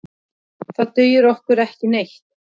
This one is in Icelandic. Það dugir okkur ekki neitt.